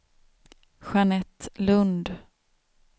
Jeanette Lundh